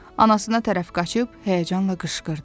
Anasına tərəf qaçıb həyəcanla qışqırdı.